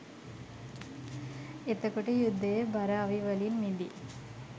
එතකොට යුද්ධයේ බර අවි වලින් මිදී